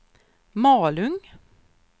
Malung